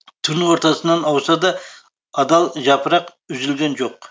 түн ортасынан ауса да адал жапырақ үзілген жоқ